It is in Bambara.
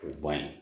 O ban ye